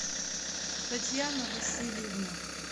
татьяна васильевна